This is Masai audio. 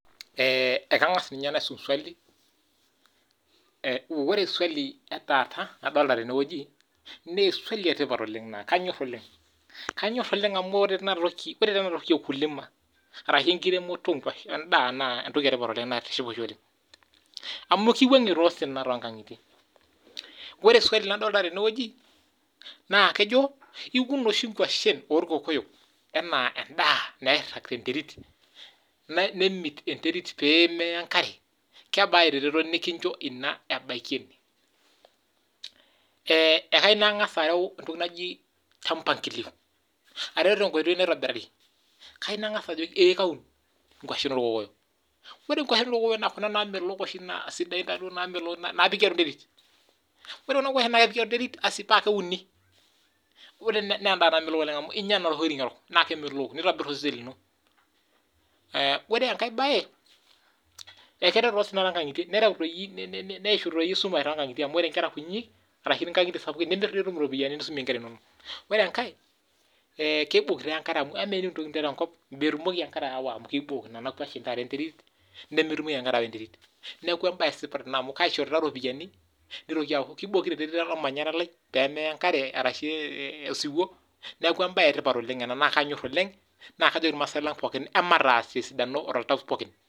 Ee kangas naisum swali amu ore swali nadolita tene na kanyor oleng amu ore entoki okuna tokitin ashu enkiremore endaa na embae etipat oleng naitiship oleng amu kiwangie osina tonkangitie ore swali nadolita tenewueji naa iun oshi nkwashen orkokoyo nakebaa eretoto nikincho ebaki ekayiwu nangasa arew tenkoitoi naitobirari kai nangasa ajoki kaun nkwashen orkokoyo ore kuna kwashen na kepiki enterit pakeuni na embae etipat amu inya erok nitobir osesen lino na keishu osina wesumash nitum iropiyani nisumie nkera inonok ore enkae kibok enkare amu ore entoki niterewa enkop na kibok enkare nona kwashen nemetumoki enkare aya enterit neaku kitokito enkare ormanyara lai pemeya enkare arashu osiwuo neaku embae etipat ena na kajoki irmaasai lang emataas toltau pooki